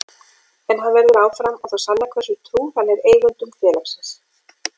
En hann verður áfram og það sannar hversu trúr hann er eigendum félagsins.